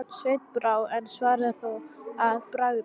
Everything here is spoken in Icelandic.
Sveini brá, en svaraði þó að bragði